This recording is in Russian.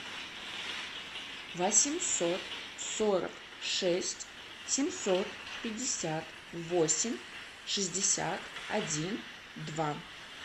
восемьсот сорок шесть семьсот пятьдесят восемь шестьдесят один два